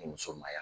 Ni muso ma ɲamiya